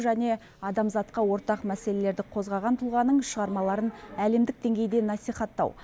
және адамзатқа ортақ мәселелерді қозғаған тұлғаның шығармаларын әлемдік деңгейде насихаттау